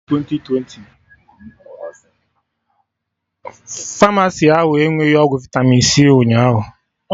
Famasi ahụ enweghi ọgwụ vitami c ụnyaahụ